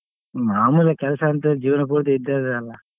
ಮಾಮೂಲಿ ಕೆಲ್ಸ ಅಂತೂ ಜೀವನ ಪೂರ್ತಿ ಇದ್ದೇ ಇದೆಯಲ್ಲ.